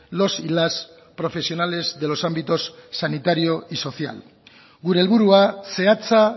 los y las profesionales de los ámbitos sanitario y social gure helburua zehatza